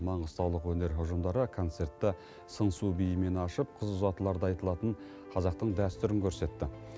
маңғыстаулық өнер ұжымдары концертті сыңсу биімен ашып қыз ұзатыларда айтылатын қазақтың дәстүрін көрсетті